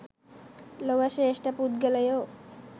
ලොව ශ්‍රේෂ්ඨ පුද්ගලයෝ